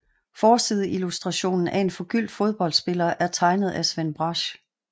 Forsideillustrationen af en forgyldt fodboldspiller er tegnet af Sven Brasch